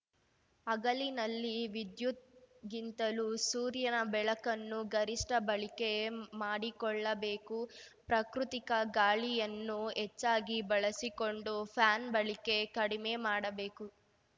ಹಗಲಿನಲ್ಲಿ ವಿದ್ಯುತ್‌ಗಿಂತಲೂ ಸೂರ್ಯನ ಬೆಳಕನ್ನು ಗರಿಷ್ಠ ಬಳಿಕೆ ಮಾಡಿಕೊಳ್ಳಬೇಕು ಪ್ರಕೃತಿಕ ಗಾಳಿಯನ್ನು ಹೆಚ್ಚಾಗಿ ಬಳಸಿಕೊಂಡು ಫ್ಯಾನ್‌ ಬಳಿಕೆ ಕಡಿಮೆ ಮಾಡಬೇಕು